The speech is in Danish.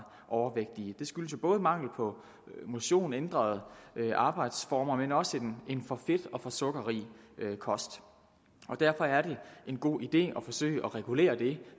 overvægtige det skyldes jo både mangel på motion og ændrede arbejdsformer men også en for fedt og for sukkerrig kost derfor er det en god idé at forsøge at regulere det